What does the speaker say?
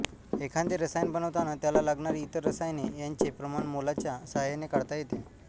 एखादे रसायन बनवताना त्याला लागणारी इतर रसायने यांचे प्रमाण मोलच्या साहाय्याने काढता येते